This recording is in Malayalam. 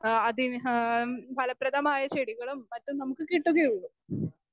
സ്പീക്കർ 2 ആഹ് അതിന് ഹാ ഫലപ്രദമായ ചെടികളും മറ്റും നമുക്ക് കിട്ടുകയുള്ളൂ.